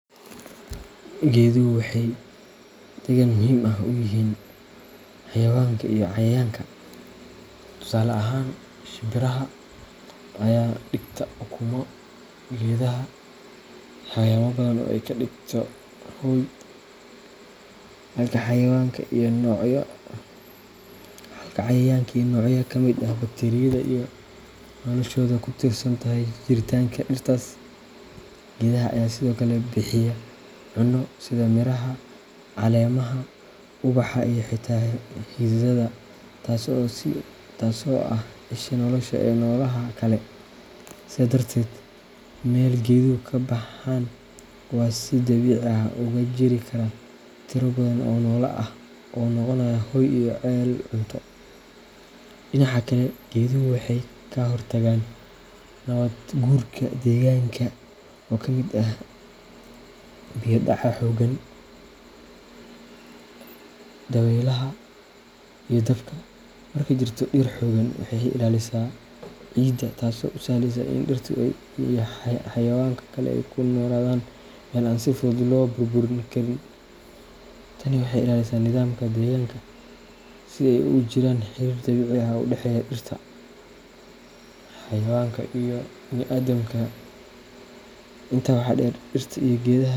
Geeduhu waxay deegaan muhiim ah u yihiin xayawaanka iyo cayayaanka. Tusaale ahaan, shimbiraha ayaa dhigta ukumo geedaha, xayawaanno badan ayaa ka dhigta hoy, halka cayayaanka iyo noocyo ka mid ah bakteeriyada ay noloshooda ku tiirsan tahay jiritaanka dhirtaas. Geedaha ayaa sidoo kale bixiya cunno, sida miraha, caleemaha, ubaxa iyo xitaa xididdada, taasoo ah isha nolosha ee noolaha kale. Sidaa darteed, meel geeduhu ka baxaan waxa si dabiici ah uga jiri kara tiro badan oo noole ah oo ay u noqonayaan hoy iyo ceel cunto. Dhinaca kale, geeduhu waxay ka hortagaan nabaad guurka deegaanka, oo ay ka mid tahay biyo dhaca xooggan, dabaylaha, iyo dabka. Markay jirto dhir xooggan, waxay ilaalisaa ciidda, taasoo u sahleysa in dhirta iyo xayawaanka kale ay ku noolaadaan meel aan si fudud loo burburin karin. Tani waxay ilaalisaa nidaamka deegaanka si ay u jiraan xiriir dabiici ah oo u dhexeeya dhirta, xayawaanka, iyo bini’aadamka. Intaa waxaa dheer, dhirta iyo geedaha.